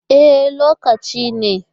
E, lokacin ne?